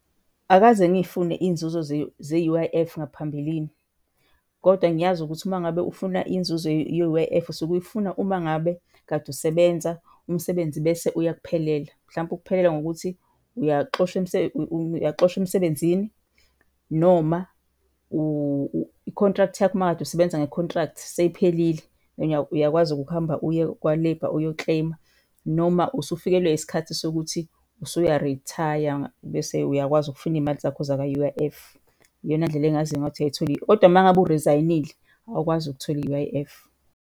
Akaze ngiy'fune iy'nzuzo ze-U_I_F ngaphambilini kodwa ngiyazi ukuthi uma ngabe ufuna inzuzo ye-U_I_F usuke uyifuna uma ngabe kade usebenza, umsebenzi bese uyakuphelela. Mhlampe ukuphelela ngokuthi uyaxoshwa uyaxoshwa emsebenzini noma i-contract yakho uma kade usebenza nge-contract seyiphelile, uyakwazi-ke ukuhamba uye kwa-Labour uyo-claim-a. Noma usufikilwe yisikhathi sokuthi usuya-retire bese uyakwazi ukufuna iy'mali zakho zakwa-U_I_F. Iyona ndlela engaziyo ngayo ukuthi uyayithola . Kodwa mangabe u-resign-ile awukwazi ukuthola i-U_I_F.